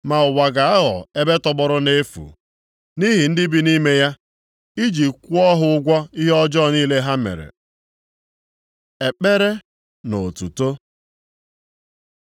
Ma ụwa ga-aghọ ebe tọgbọrọ nʼefu nʼihi ndị bi nʼime ya, iji kwụọ ha ụgwọ ihe ọjọọ niile ha mere. Ekpere na otuto